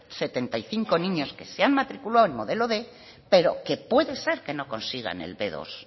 setenta y cinco niños que se han matriculado en modelo quinientos pero que puede ser que no consigan el be dos